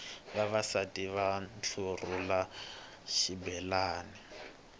vavasati va ntlurhula xibelani